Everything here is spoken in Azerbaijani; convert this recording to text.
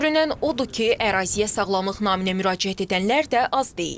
Görünən odur ki, əraziyə sağlamlıq naminə müraciət edənlər də az deyil.